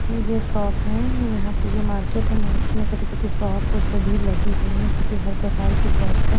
ये ये शॉप हैं यहां पे ये मार्केट है मार्केट में छोटी-छोटी शॉप सभी लगी हुई हैं जो कि हर प्रकार की शॉप हैं।